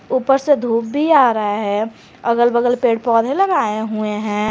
ऊपर से धूप भी आ रहा है अगल बगल पेड़ पौधे लगाए हुए हैं।